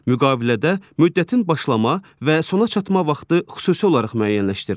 Müqavilədə müddətin başlama və sona çatma vaxtı xüsusi olaraq müəyyənləşdirilir.